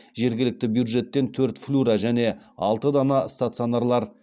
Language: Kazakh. жергілікті бюджеттен төрт флюро және алты дана стационарлар